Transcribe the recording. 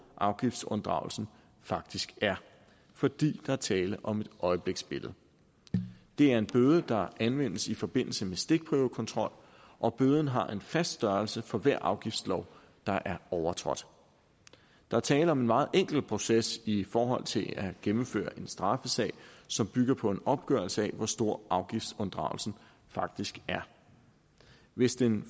afgiftsunddragelsen faktisk er fordi der er tale om et øjebliksbillede det er en bøde der anvendes i forbindelse med stikprøvekontrol og bøden har en fast størrelse for hver afgiftslov der er overtrådt der er tale om en meget enkel proces i forhold til at gennemføre en straffesag som bygger på en opgørelse af hvor stor afgiftsunddragelsen faktisk er hvis den